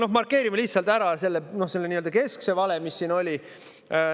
" Aga markeerin lihtsalt ära need kesksed valed, mis siin olid.